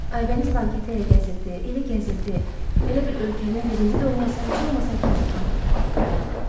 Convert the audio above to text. Aybəniz banketi ilə gəzirdi, elə gəzirdi, elə bil ölkənin birinci olmasa, heç olmasa ikinci xanımıdır.